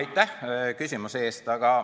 Aitäh küsimuse eest!